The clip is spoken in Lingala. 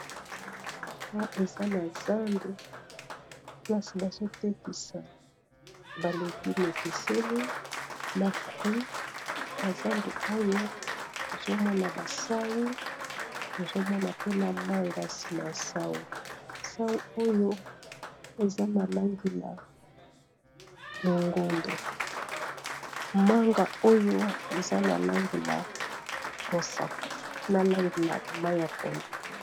awa eza na zandu kasi bazotekisa balegu mekeseni na fruit na zandu oyo tozomona basau tozomona pena manga nsima ya sau sau oyo eza na langi na longondo manga oyo eza na langi na mosaka na langi na ma ya pondo